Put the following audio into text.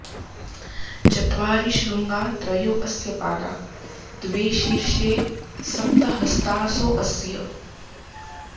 च॒त्वारि॒ शृङ्गा॒ त्रयो॑ अस्य॒ पादा॒ द्वे शी॒र्॒षे स॒प्त हस्ता॑सो अ॒स्य